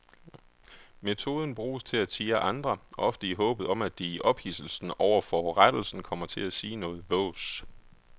Metoden bruges til at tirre andre, ofte i håbet om at de i ophidselsen over forurettelsen kommer til at sige noget vås.